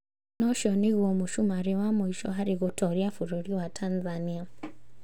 Naũcio nĩguo mũcumarĩ wa mwisho harĩ gũtoria bũrũri wa Tanzania